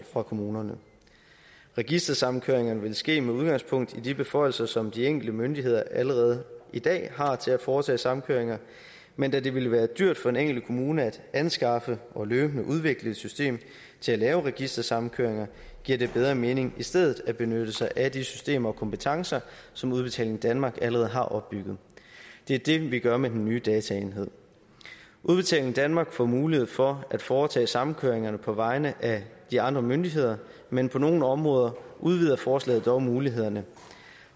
fra kommunerne registersamkøringerne vil ske med udgangspunkt i de beføjelser som de enkelte myndigheder allerede i dag har til at foretage samkøringer men da det vil være dyrt for den enkelte kommune at anskaffe og løbende udvikle et system til at lave registersamkøringer giver det bedre mening i stedet at benytte sig af de systemer og kompetencer som udbetaling danmark allerede har opbygget det er det vi gør med den nye dataenhed udbetaling danmark får mulighed for at foretage samkøringerne på vegne af de andre myndigheder men på nogle områder udvider forslaget dog mulighederne